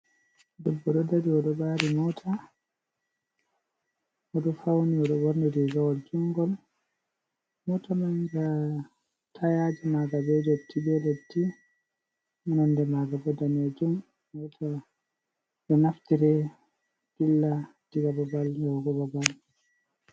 Debbo ɗo dari, o ɗo ɓaari moota, o ɗo fawni, o ɓorni riigawol juuɗngol. Moota man nga tayaaji maaga, be ndotti be ndotti. Nonde maaga daneejum, ɗo naftire dilla diga babal, yahugo babal.